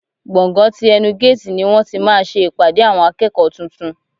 Gbọ̀ngán ti ẹnu géètì ni wọ́n ti máa ṣe ìpàdé àwọn akẹ́kọ̀ọ́ tuntun.